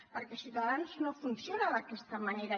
perquè ciutadans no funciona d’aquesta manera